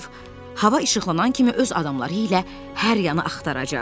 Şerif hava işıqlanan kimi öz adamları ilə hər yanı axtaracaq.